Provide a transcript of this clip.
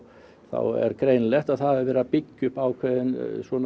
er greinilegt að það er verið að byggja upp ákveðinn